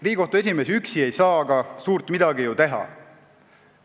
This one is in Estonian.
Riigikohtu esimees üksi ei saa aga suurt midagi ära teha.